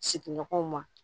Sigiɲɔgɔnw ma